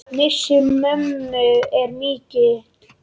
Missir mömmu er mikill.